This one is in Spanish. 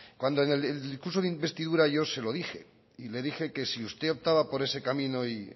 en el discurso de investidura yo se lo dije y le dije que si usted optaba por ese camino y